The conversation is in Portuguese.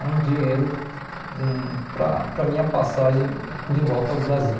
era um dinheiro hum para para a minha passagem de volta ao Brasil.